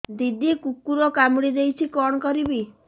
ଦିଦି କୁକୁର କାମୁଡି ଦେଇଛି କଣ କରିବି